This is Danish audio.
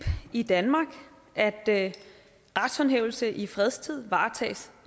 i danmark at at retshåndhævelse i fredstid varetages